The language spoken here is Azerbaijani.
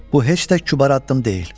Bu heç də kübar addım deyil.